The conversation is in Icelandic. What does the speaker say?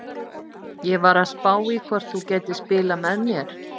Ég var að spá í hvort þú gætir spilað með mér?